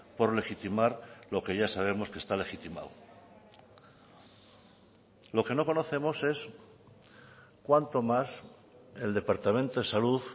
por legitimar lo que ya sabemos que está legitimado lo que no conocemos es cuánto más el departamento de salud